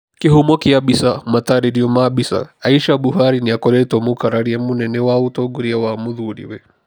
Kĩhumo kĩa mbica, mataarerio ma mbica. Aisha Buhari nĩ akoretwo mũkararia mũnene wa ũtongoria wa mũthuuriwe.